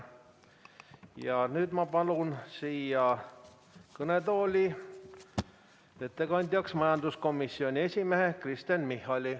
Ja nüüd ma palun siia kõnetooli ettekandjaks majanduskomisjoni esimehe Kristen Michali.